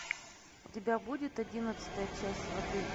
у тебя будет одиннадцатая часть сваты